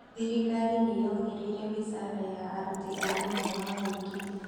Thirikari nĩ yongereire mĩshara ya aruti a wĩra wa mũingĩ